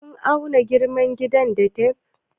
Kun auna girman gidan da tef?